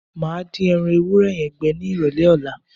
Mo máa dín ẹran ewúrẹ́ yẹn gbẹ nírọ̀lẹ́ ọ̀la.